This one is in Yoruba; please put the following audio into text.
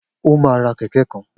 O máa ra kẹ̀kẹ́ kan.